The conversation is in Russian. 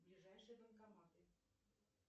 ближайшие банкоматы